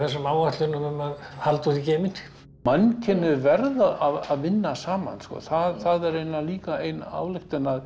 áætlunum að halda út í geiminn mannkynið verður að vinna saman það er líka ein ályktunin að